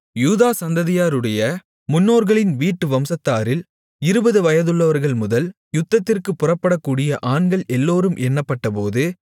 யூதா சந்ததியாருடைய முன்னோர்களின் வீட்டு வம்சத்தாரில் இருபது வயதுள்ளவர்கள் முதல் யுத்தத்திற்குப் புறப்படக்கூடிய ஆண்கள் எல்லோரும் எண்ணப்பட்டபோது